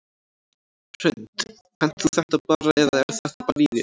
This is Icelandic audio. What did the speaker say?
Hrund: Kannt þú þetta bara eða er þetta bara í þér?